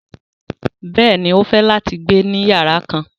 Bẹ́ẹ̀ni, o fẹ́ láti gbẹ̀ ní yàrà kán.